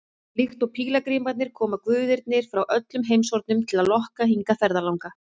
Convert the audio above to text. Líkt og pílagrímarnir koma guðirnir frá öllum heimshornum til að lokka hingað ferðalanga.